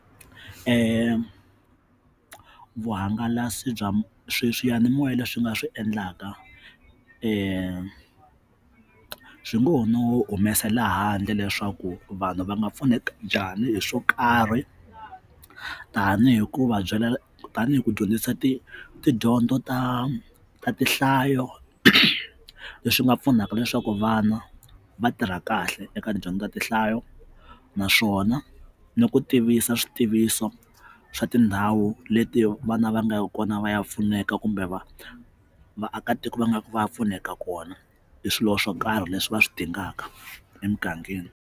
vuhangalasi bya swi swiyanimoya leswi nga swi endlaka swi ngo no humesela ehandle leswaku vanhu va nga pfuneka njhani hi swo karhi tanihi hikuva byela tanihi ku dyondzisa ti tidyondzo ta tihlayo leswi nga pfunaka leswaku vana va tirha kahle eka tidyondzo ta tinhlayo naswona ni ku tivisa swi tiviso swa tindhawu leti vana va nga kona va ya pfuneka kumbe va vaakatiko va nga va ya pfuneka kona hi swilo swo karhi leswi va swi dingaka emugangeni.